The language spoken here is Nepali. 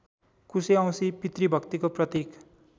कुशेऔँसी पितृभक्तिको प्रतीक